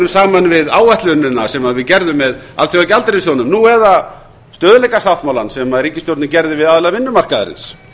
árangurinn saman við áætlunina sem við gerðum með alþjóðagjaldeyrissjóðnum eða stöðugleikasáttmálanum sem ríkisstjórnin gerði við aðila vinnumarkaðarins